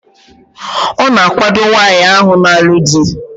A na-akwado nwaanyi ahu na-alu di